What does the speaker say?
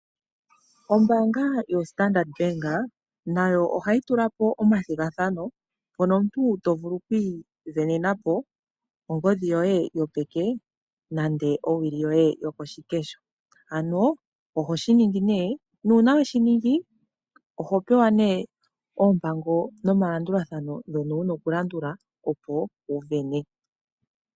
Ombaanga yaStandard bank nayo ohayi tula po omathigathano mono omuntu to vulu oku isindanena po ongodhi yoye yopeke nande owili yoye yokoshikesho. Ano ohoshi ningi nee nuuna weshiningi oho pewa nee oompango nomalandulathano ndhono wuna okulandula opo wu sindane.